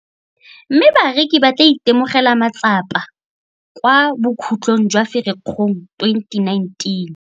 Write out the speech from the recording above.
Mme bareki ba tla itemogela matsapa kwa bokhutlhong jwa Firikgong 2019.